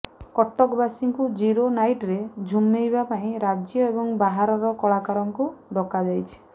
କଟକବାସୀଙ୍କୁ zero ନାଇଟରେ ଝୁମେଇବା ପାଇଁ ରାଜ୍ୟ ଏବଂ ବାହାରର କଳାକାରଙ୍କୁ ଡକାଯାଇଛି